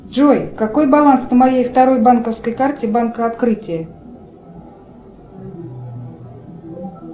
джой какой баланс на моей второй банковской карте банка открытие